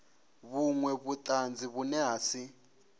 vhunwe vhutanzi vhune ha si